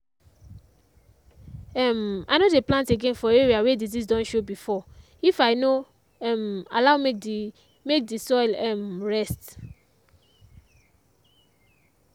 um i no dey plant again for area wey disease don show before if i no um allow make the make the soil um rest